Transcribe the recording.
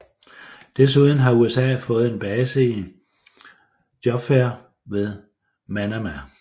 Desuden har USA fået en base i Juffair ved Manama